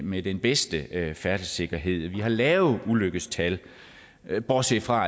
med den bedste færdselssikkerhed vi har lave ulykkestal bortset fra